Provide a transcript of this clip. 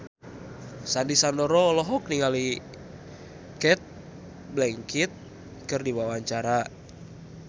Sandy Sandoro olohok ningali Cate Blanchett keur diwawancara